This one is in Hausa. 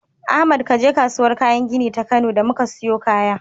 Ahmad kaje kasuwar kayan gini ta Kano da muka siyo kaya.